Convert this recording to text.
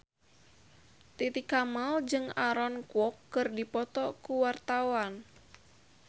Titi Kamal jeung Aaron Kwok keur dipoto ku wartawan